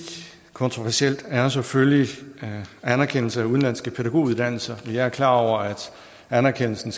kontroversielt er selvfølgelig anerkendelse af udenlandske pædagoguddannelser vi er klar over at anerkendelsen